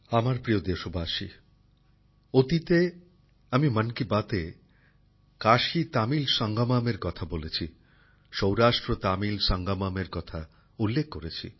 আমার প্রিয় দেশবাসী অতীতে আমি মন কি বাতে কাশীতামিল সঙ্গমমের কথা বলেছি সৌরাষ্ট্রতামিল সঙ্গমমের কথা উল্লেখ করেছি